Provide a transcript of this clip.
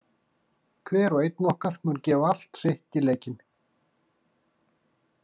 Hver og einn okkar mun gefa allt sitt í leikinn.